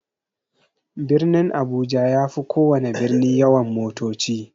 Birnin abuja yafi kowana birni yawan motoci.